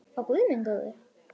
Ó guð minn góður.